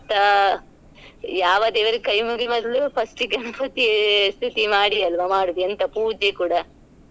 ಅ ಯಾವ ದೇವರ್ಗೆ ಕೈ ಮುಗಿಯೋ ಬದ್ಲು first ಗೆ ಗಣಪತಿ ಸ್ತುತಿ ಮಾಡಿ ಅಲ್ಲ್ವಾ ಮಾಡೋದು ಎಂತ ಪೂಜೆ ಕೂಡಾ.